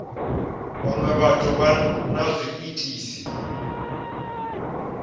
vhaṅwe vhathu vha na zwiitisi